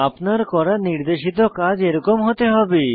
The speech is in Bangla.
আপনার করা নির্দেশিত কাজ এরকম হতে হবে